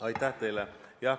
Aitäh teile!